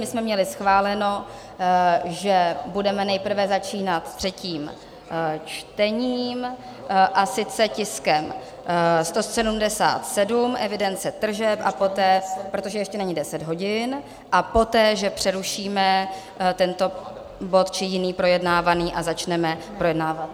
My jsme měli schváleno, že budeme nejprve začínat třetím čtením, a sice tiskem 177, evidence tržeb, protože ještě není 10 hodin, a poté že přerušíme tento bod či jiný projednávaný a začneme projednávat...